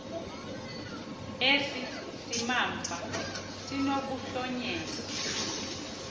esi simamva sinokuhlonyelwa